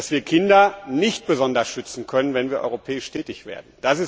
dass wir Kinder nicht besonders schützen können, wenn wir auf europäischer Ebene tätig werden.